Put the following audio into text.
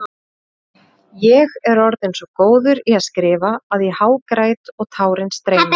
Ég er orðinn svo góður í að skrifa að ég hágræt og tárin streyma.